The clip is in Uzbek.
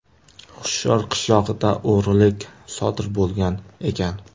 Hushyor qishlog‘ida o‘g‘rilik sodir bo‘lgan ekan.